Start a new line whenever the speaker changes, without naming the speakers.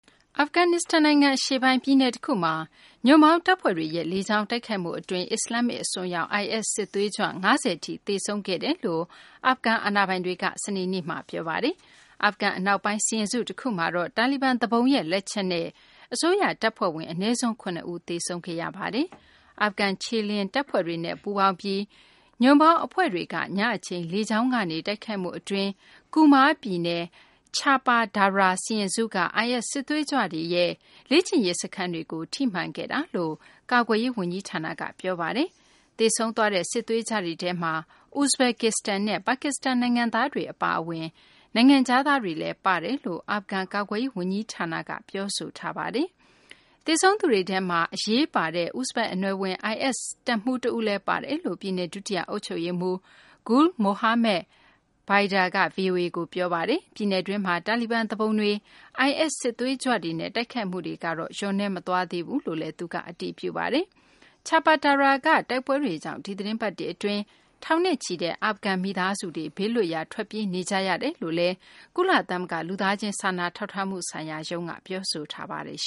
အာဖဂန်နစ္စတန် နိုင်ငံ အရှေ့ပိုင်း ပြည်နယ်တခုမှာ ညွန့်ပေါင်းတပ်ဖွဲ့တွေရဲ့ လေကြောင်းတိုက်ခိုက်မှု အတွင်း အစ္စလာမ္မစ် အစွန်းရောက် IS စစ်သွေးကြွ ၅၀ ထိ သေဆုံးခဲ့ကြောင်း အာဖဂန် အာဏာပိုင်တွေက စနေနေ့မှာ ပြောဆိုပါတယ်။ အာဖဂန် အနောက်ပိုင်း စီရင်စု တခုမှာတော့ တာလီဘန် သူပုန်ရဲ့ လက်ချက်နဲ့ အစိုးရ တပ်ဖွဲ့ဝင် အနည်းဆုံး ၇ ဦး သေဆုံးခဲ့ရပါတယ်။ အာဖဂန် ခြေလျင်တပ်ဖွဲ့တွေနဲ့ ပူးပေါင်းပြီး ညွန့်ပေါင်းအဖွဲ့တွေက ညအချိန် လေကြောင်းကနေ တိုက်ခိုက်မှု အတွင်း Kunar ပြည်နယ်က Cahpa Darah စီရင်စုက IS စစ်သွေးကြွတွေရဲ့ လေ့ကျင့်ရေး စခန်းတွေကို ထိမှန်ခဲ့တာလို့ ကာကွယ်ရေး ဝန်ကြီးဌာနက ပြောပါတယ်။ သေဆုံးသွားတဲ့ စစ်သွေးကြွတွေထဲမှာ ဥဇဘက္ကစ္စတန်နဲ့ ပါကစ္စတန် နိုင်ငံသားတွေ အပါအဝင် နိုင်ငံခြားသားတွေလည်း ပါတယ်လို့ အာဖဂန် ကာကွယ်ရေး ဝန်ကြီးဌာနက ပြောဆိုထားပါတယ်။ သေဆုံးသူတွေထဲမှာ အရေးပါတဲ့ ဥဇဘက် အနွယ် IS တပ်မှူး တဦးလည်း ပါတယ်လို့ ပြည်နယ် ဒုတိယ အုပ်ချုပ်ရေးမှူး Gul Mohammad Baidar က ဗွီအိုအေကို ပြောပါတယ်။ ပြည်နယ်တွင်းမှာ တာလီဘန် သူပုန်တွေ၊ IS စစ်သွေးကြွတွေနဲ့ တိုက်ခိုက်မှုတွေကတော့ လျော့နည်းမသွားဘူးလို့လည်း သူက အတည်ပြုပါတယ်။ Chapa Darah က တိုက်ပွဲတွေကြောင့် ဒီသီတင်းပတ်တွေ အတွင်း ထောင်နဲ့ချီတဲ့ အာဖဂန် မိသားစုတွေ ဘေးလွတ်ရာ ထွက်ပြေးနေကြ ရတယ်လု့ိလည်း ကုလသမဂ္ဂ လူသားချင်းစာနာထောက်ထားမှု ဆိုင်ရာရုံးက ပြောဆိုထားပါတယ်။